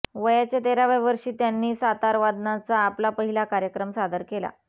वयाच्या तेराव्या वर्षी त्यांनी सतारवादनाचा आपला पहिला कार्यक्रम सादर केला